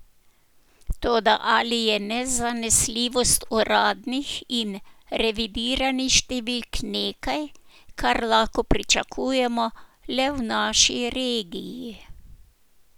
Toda ali je nezanesljivost uradnih in revidiranih številk nekaj, kar lahko pričakujemo le v naši regiji?